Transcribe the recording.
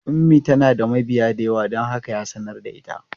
Ummi tana da mabiya da yawa don haka ya sanar da ita.